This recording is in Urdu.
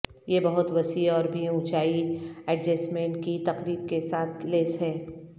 یہ بہت وسیع اور بھی اونچائی ایڈجسٹمنٹ کی تقریب کے ساتھ لیس ہے